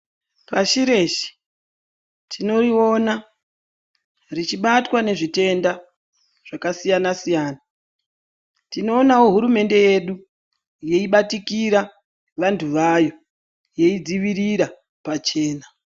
Pashi reshe tinoriona richibatwa nezvitenda zvakasiyana siyana tinoonawo hurumende yedu yeibatikira Vantu vayo yeidzivirira pachena.